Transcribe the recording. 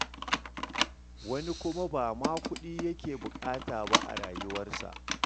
Wani kuma ba ma kuɗi yake buƙata ba a rayuwarsa.